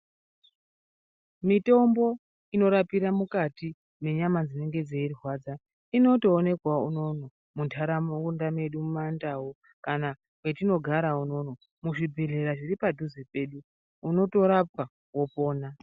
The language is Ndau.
Mitombo inorapira mukati mwenyama dzinenge dzeirwadza inotoonekwawo unono munharaunda mwedu mumandau, kana kwetinogara unono muzvibhedhlera zviri padhuze pedu unotorapwa wopona.